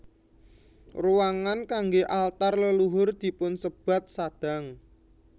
Ruangan kanggé altar leluhur dipunsebat sadang